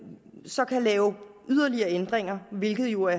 så kan lave yderligere ændringer hvilket jo